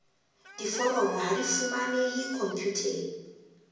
diforomo ha di fumanehe khomputeng